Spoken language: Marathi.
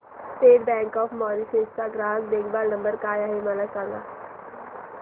स्टेट बँक ऑफ मॉरीशस चा ग्राहक देखभाल नंबर काय आहे मला सांगा